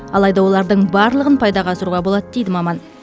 алайда олардың барлығын пайдаға асыруға болады дейді маман